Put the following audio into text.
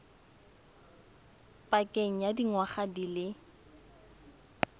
pakeng ya dingwaga di le